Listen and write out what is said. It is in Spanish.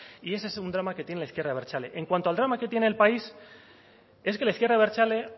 y ese es un drama que tiene la izquierda abertzale en cuanto al drama que tiene el país es que la izquierda abertzale